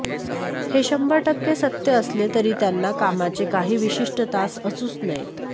हे शंभर टक्के सत्य असले तरी त्यांना कामाचे काही विशिष्ट तास असूच नयेत